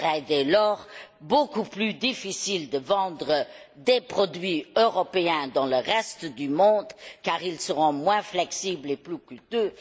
Il sera dès lors beaucoup plus difficile de vendre des produits européens dans le reste du monde car ils seront moins flexibles et plus coûteux.